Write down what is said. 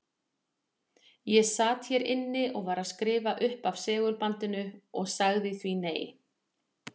Ég sat hér inni og var að skrifa upp af segulbandinu og sagði því nei.